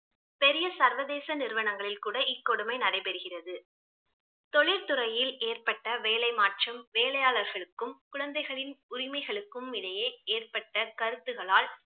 பெரிய சர்வதேச நிறுவனங்களில் கூட இக்கொடுமை நடைபெறுகிறது. தொழில்துறையில் ஏற்பட்ட வேலை மற்றும் வேலியாளர்களுக்கும் குழந்தைகளின் உரிமைகளுக்கும் இடையே ஏற்பட்ட கருத்துகளால்